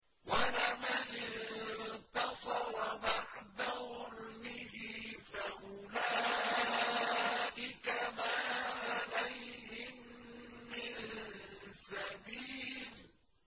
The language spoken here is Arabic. وَلَمَنِ انتَصَرَ بَعْدَ ظُلْمِهِ فَأُولَٰئِكَ مَا عَلَيْهِم مِّن سَبِيلٍ